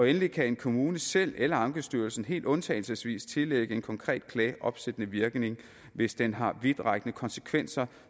endelig kan en kommune selv eller ankestyrelsen helt undtagelsesvis tillægge en konkret klage opsættende virkning hvis den har vidtrækkende konsekvenser